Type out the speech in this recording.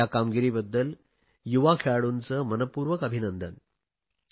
या कामगिरीबद्दल युवा खेळाडूंचे मनपूर्वक अभिनंदन